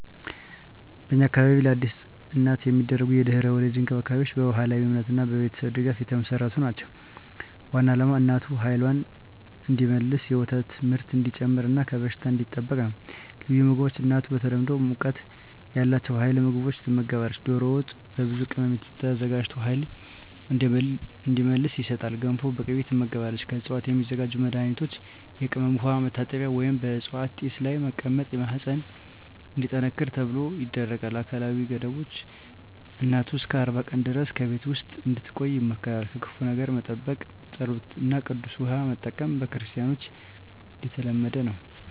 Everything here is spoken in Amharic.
በእኛ አካባቢ ለአዲስ እናት የሚደረጉ የድህረ-ወሊድ እንክብካቤዎች በባህላዊ እምነትና በቤተሰብ ድጋፍ የተመሠረቱ ናቸው። ዋናው ዓላማ እናቱ ኃይልዋን እንዲመልስ፣ የወተት ምርት እንዲጨምር እና ከበሽታ እንዲጠበቅ ነው። ልዩ ምግቦች እናቱ በተለምዶ ሙቀት ያላቸው ኃይል ምግቦች ትመገባለች። ዶሮ ወጥ በብዙ ቅመም ተዘጋጅቶ ኃይል እንዲመልስ ይሰጣል። ገንፎ በቅቤ ትመገባለች። ከዕፅዋት የሚዘጋጁ መድኃኒቶች የቅመም ውሃ መታጠቢያ ወይም በዕፅዋት ጢስ ላይ መቀመጥ ማህፀን እንዲጠነክር ተብሎ ይደረጋል። አካላዊ ገደቦች እናቱ እስከ 40 ቀን ድረስ በቤት ውስጥ እንድትቆይ ይመከራል። ከክፉ ነገር መጠበቅ ጸሎት እና ቅዱስ ውሃ መጠቀም በክርስቲያኖች የተለመደ ነው።